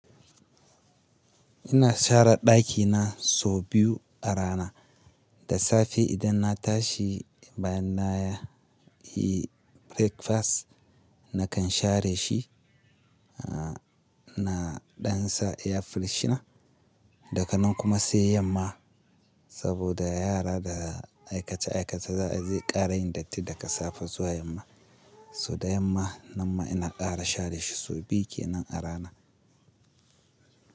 Ina share ɗakina sau biyu a rana. Da safe idan na tashi bayan na yi breakfast nakan share shi, na ɗan sa air Freshner. Daka nan kuma sai yamma saboda yara da aikace aikace za ze ƙara yin datti daga safe zuwa yamma. So da yamma nan ma ina ƙara share shi sau biyu kenan a rana.